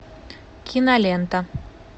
кинолента